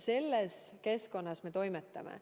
Selle eesmärgiga me toimetame.